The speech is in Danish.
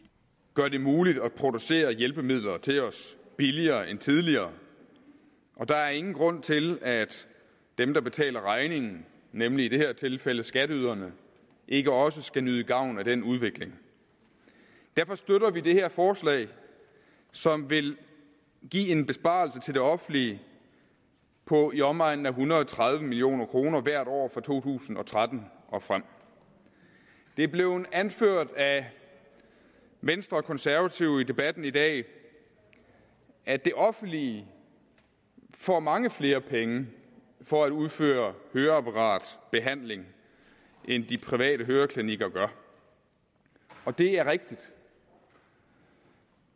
gør det muligt at producere hjælpemidler til os billigere end tidligere og der er ingen grund til at dem der betaler regningen nemlig i det her tilfælde skatteyderne ikke også skal nyde gavn af den udvikling derfor støtter vi det her forslag som vil give en besparelse til det offentlige på i omegnen af en hundrede og tredive million kroner hvert år fra to tusind og tretten og frem det er blevet anført af venstre og konservative i debatten i dag at det offentlige får mange flere penge for at udføre høreapparatbehandling end de private høreklinikker gør det er rigtigt